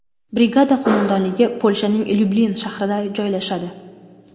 Brigada qo‘mondonligi Polshaning Lyublin shahrida joylashadi.